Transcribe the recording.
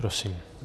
Prosím.